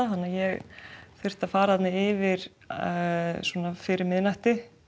þannig ég þurfti að fara þarna yfir svona fyrir miðnætti